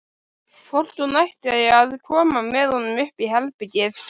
Hvort hún ætti að koma með honum upp í herbergið?